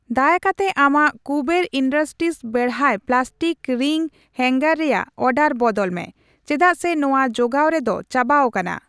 ᱫᱟᱭᱟ ᱠᱟᱛᱮ ᱟᱢᱟᱜ ᱠᱩᱵᱮᱨ ᱤᱱᱰᱩᱥᱴᱨᱤᱥ ᱵᱮᱲᱦᱟᱭ ᱯᱞᱟᱥᱴᱤᱠ ᱨᱤᱝ ᱦᱟᱝᱜᱟᱨ ᱨᱮᱭᱟᱜ ᱚᱨᱰᱟᱨ ᱵᱚᱫᱚᱞ ᱢᱮ ᱪᱮᱫᱟᱜ ᱥᱮ ᱱᱚᱣᱟ ᱡᱚᱜᱟᱣ ᱨᱮ ᱫᱚ ᱪᱟᱵᱟᱣᱟᱠᱟᱱᱟ ᱾